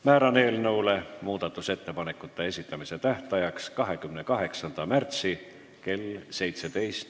Määran eelnõu muudatusettepanekute esitamise tähtajaks 28. märtsi kell 17.